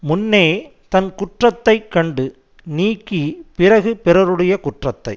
முன்னே தன் குற்றத்தை கண்டு நீக்கி பிறகு பிறருடையக் குற்றத்தை